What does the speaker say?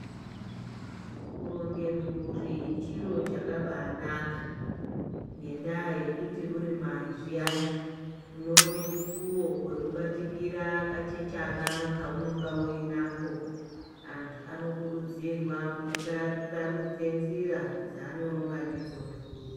Kuronge mburi chiro chakabaanaka kwazvo ngekuti uri mai zviyane unoona mukuwo wekubatikira kachechana kaunenge uinako ,antu anokurudzirwa kusarudze nzira dzaanoronga ndidzo.